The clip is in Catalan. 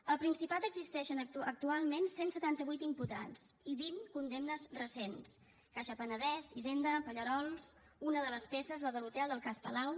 al principat existeixen actualment cent i setanta vuit imputats i vint condemnes recents caixa penedès hisenda pallerols i una de les peces la de l’hotel del cas palau